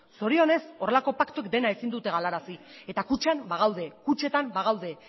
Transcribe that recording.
zorionez horrelako paktuak dena ezin dute galarazi eta kutxan bagaude kutxetan bagaude